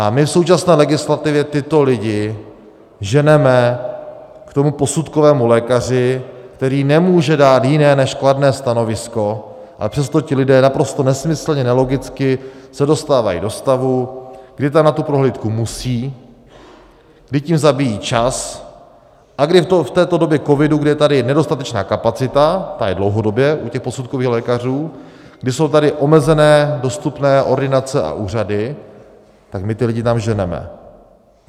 A my v současné legislativě tyto lidi ženeme k tomu posudkovému lékaři, který nemůže dát jiné než kladné stanovisko, ale přesto ti lidé naprosto nesmyslně, nelogicky se dostávají do stavu, kdy tam na tu prohlídku musí, kdy tím zabíjí čas a kdy v této době covidu, kdy je tady nedostatečná kapacita, ta je dlouhodobě u těch posudkových lékařů, kdy jsou tady omezené dostupné ordinace a úřady, tak my ty lidi tam ženeme.